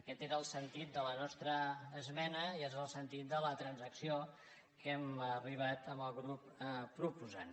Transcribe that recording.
aquest era el sentit de la nostra esmena i és el sentit de la transacció a què hem arribat amb el grup proposant